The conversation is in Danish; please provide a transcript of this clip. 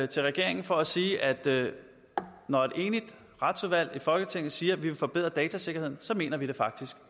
til regeringen for at sige at når et enigt retsudvalg i folketinget siger at vi vil forbedre datasikkerheden så mener vi det faktisk